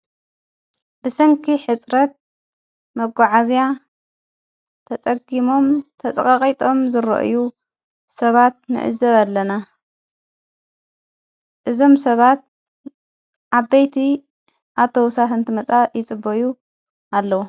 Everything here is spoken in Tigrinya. ብሰንኪ ሕጽረት መጐዓእዝያ ተጸጊሞም ተጸቓቒጦም ዝርእዩ ሰባት ንእዘብ ኣለና እዞም ሰባት ዓበይቲ ኣተወሳት እንቲ መጻእ ይጽበዩ ኣለዉ።